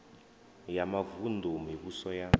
ya mavun ḓu mivhuso ya